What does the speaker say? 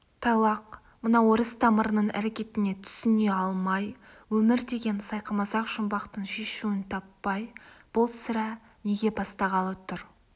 тайлақ мына орыс тамырының әрекетіне түсіне алмай өмір деген сайқымазақ жұмбақтың шешуін таппай бұл сірә неге бастағалы тұр